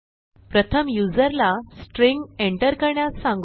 प्रथम युजरला string enter करण्यास सांगू